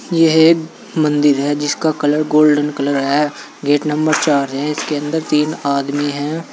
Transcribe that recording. यह मंदिर है जिसका कलर गोल्डन कलर है गेट नंबर चार है इसके अंदर तीन आदमी हैं।